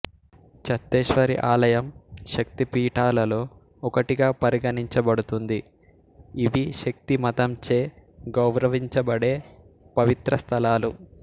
చత్తేశ్వరి ఆలయం శక్తి పీఠాలలో ఒకటిగా పరిగణించబడుతుంది ఇవి శక్తి మతంచే గౌరవించబడే పవిత్ర స్థలాలు